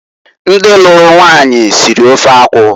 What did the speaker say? Ndi luru nwanyi siri ofe akwụ.